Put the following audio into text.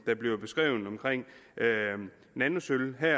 bliver beskrevet vedrørende nanosølv her